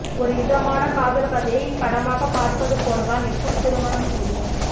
ஒரு இதமான காதல் கதையை படமாக பார்ப்பது போலத்தான் இருக்கு திருமணம் சீரியல்